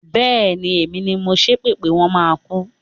Bẹ́ẹ̀ni, èmi ni mo ṣépè pé wọ́n máa kú.